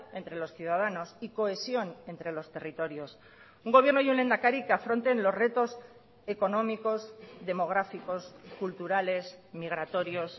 entre los ciudadanos y cohesión entre los territorios un gobierno y un lehendakari que afronten los retos económicos demográficos culturales migratorios